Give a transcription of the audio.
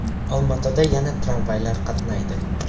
Olmaotada yana tramvaylar qatnaydi.